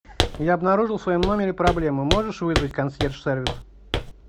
я обнаружил в своем номере проблему можешь вызвать консьерж сервис